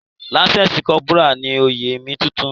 Lance corporal ni oyè mi tuntun.